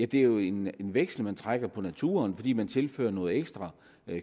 det er jo en veksel man trækker på naturen fordi man tilfører noget ekstra